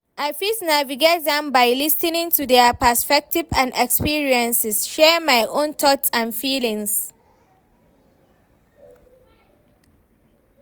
i fit navigate am by lis ten ing to their perspectives and experiences, share my own thoughts and feelings.